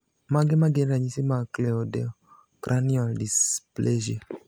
Mage magin ranyisi mag Cleidocranial dysplasia?